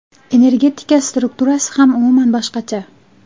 Energetika strukturasi ham umuman boshqacha.